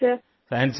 yes sir